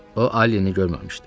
O Alini görməmişdi.